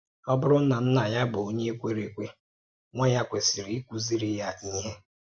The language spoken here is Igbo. Ọ̀ bụrụ̀ na nnà ya bụ̀ Onyé kwèrè èkwè, nwá ya kwesìrì íkùzìrì ya íhè.